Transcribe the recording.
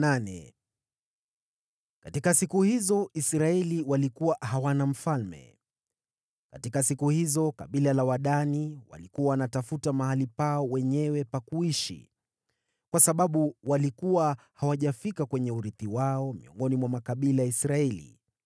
Katika siku hizo Israeli walikuwa hawana mfalme. Katika siku hizo kabila la Wadani walikuwa wanatafuta mahali pao wenyewe pa kuishi, kwa sababu walikuwa hawajafika kwenye urithi wao miongoni mwa makabila ya Israeli.